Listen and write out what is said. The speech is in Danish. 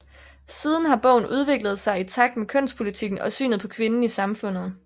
Siden har bogen udviklet sig i takt med kønspolitikken og synet på kvinden i samfundet